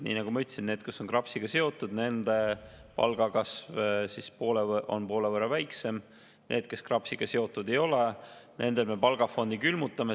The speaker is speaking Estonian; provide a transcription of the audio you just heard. Nii nagu ma ütlesin, nendel, kes on KRAPS-iga seotud, on palgakasv poole võrra väiksem, nendel, kes KRAPS-iga seotud ei ole, me palgafondi külmutame.